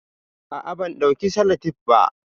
Ah ah ban dauki salatep ba